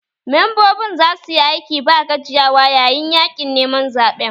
Membobin za su yi aiki ba gajiyawa yayin yaƙin neman zaɓen